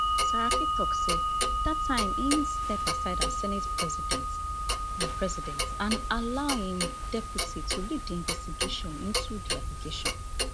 saraki tok say dat time im step aside as senate president and president and allow im deputy to lead di investigation into di allegation